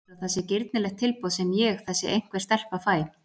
Heldurðu að það sé girnilegt tilboð sem ég, þessi einhver stelpa, fæ?